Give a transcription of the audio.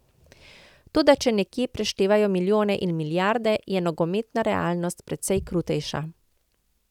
Toda če nekje preštevajo milijone in milijarde, je nogometna realnost precej krutejša.